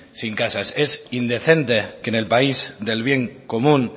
sin casas es indecente que en el país del bien común